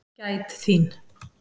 Gæt þín.